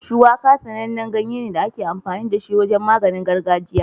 Shuwaka sanannen ganye ne da ake amfani da shi wajen maganin gargajiya.